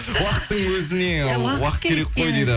уақыттың өзіне уақыт керек қой дейді